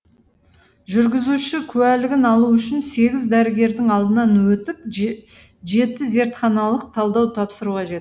жүргізуші куәлігін алу үшін сегіз дәрігердің алдынан өтіп жеті зертханалық талдау тапсыру қажет